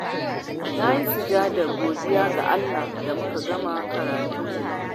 Na yi sujjadar godiya ga Allah da muka gama karatunmu.